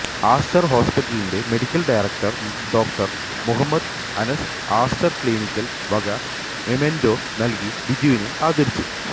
Aster ഹോസ്പിറ്റലിന്റെ medical director doctor Muhammad Anas Aster clinic വക memento നൽകി ബിജുവിനെ ആദരിച്ചു